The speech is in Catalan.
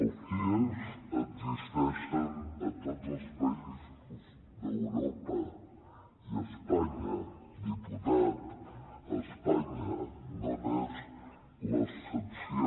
els cie existeixen a tots els països d’europa i a espanya diputat espanya no n’és l’excepció